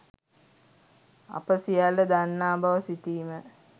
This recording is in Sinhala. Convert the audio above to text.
අප සියල්ල දන්නා බව සිතීම